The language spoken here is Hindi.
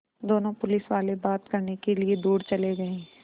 दोनों पुलिसवाले बात करने के लिए दूर चले गए